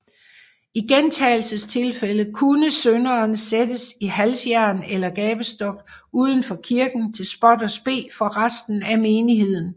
I gentagelsestilfælde kunne synderen sættes i halsjern eller gabestok uden for kirken til spot og spe for resten af menigheden